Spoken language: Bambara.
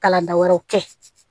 Kalan da wɛrɛw kɛ